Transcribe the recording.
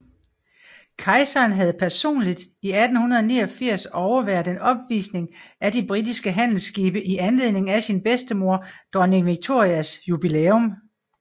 Kejseren havde personligt i 1889 overværet en opvisning af de britiske handelsskibe i anledning af sin bedstemor Dronning Victorias jubilæum